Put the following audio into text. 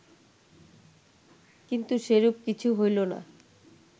কিন্তু সেরূপ কিছু হইল না